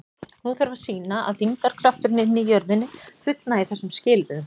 Nú þarf að sýna að þyngdarkrafturinn inni í jörðinni fullnægi þessum skilyrðum.